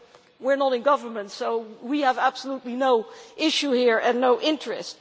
You know, we are not in government, so we have absolutely no issue here and no interest.